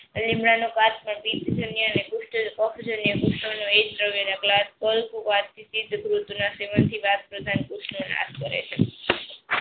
લીમડાનો એક ધ્રાવ્ય નાશ કરે છે.